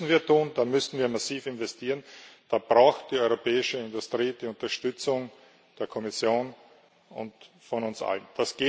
Das müssen wir tun, da müssen wir massiv investieren, da braucht die europäische Industrie die Unterstützung der Kommission und von uns allen.